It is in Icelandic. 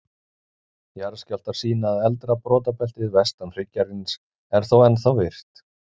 Jarðskjálftar sýna að eldra brotabeltið, vestan hryggjarins, er þó ennþá virkt.